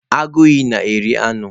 Agụ iyi na eri anụ.